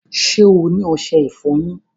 Ṣẹ́ ẹ ni oṣẹ-ìfọ̀yin?